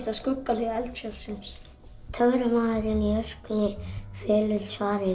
að skuggahlið eldfjallsins töframaðurinn í öskunni felur svarið í